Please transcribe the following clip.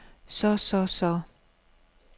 så så så